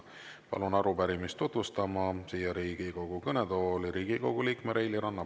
Palun arupärimist tutvustama siia Riigikogu kõnetooli Riigikogu liikme Reili Ranna.